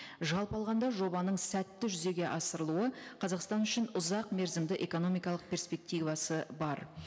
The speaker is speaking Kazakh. жалпы алғанда жобаның сәтті жүзеге асырылуы қазақстан үшін ұзақ мерзімді экономикалық перспективасы бар